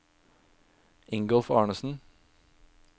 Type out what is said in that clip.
Ingolf Arnesen